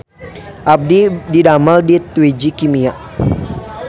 Abdi didamel di Twiji Kimia